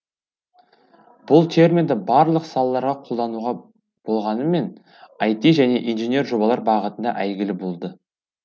бұл терминді барлық салаларға қолдануға болғанмен айти және инженер жобалар бағытында әйгілі болды